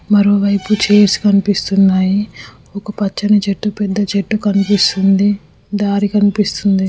మరోవైపు చైర్ కనిపిస్తున్నాయి ఒక పచ్చని చెట్టు పెద్ద చెట్టు కనిపిస్తుంది దారి కనిపిస్తుంది.